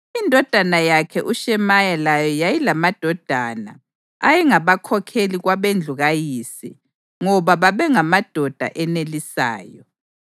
Indodana yakhe uShemaya layo yayilamadodana, ayengabakhokheli kwabendlu kayise ngoba babengamadoda enelisayo.